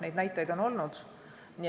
Neid näiteid on olnud.